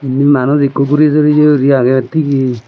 inni manuj ikko guri soreye guri agey tige.